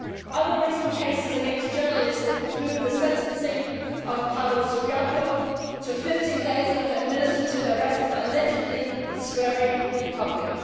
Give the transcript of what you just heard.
Other recent cases against journalists include the sentencing of Pavel Sviardlou to 15 days of administrative arrest for allegedly swearing in public.